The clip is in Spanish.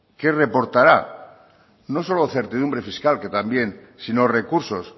que reportará no solo certidumbre fiscal que también sino recursos